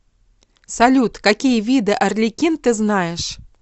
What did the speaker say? салют какие виды арлекин ты знаешь